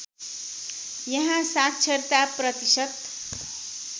यहाँ साक्षरता प्रतिशत